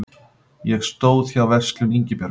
Ég stóð hjá Verslun Ingibjargar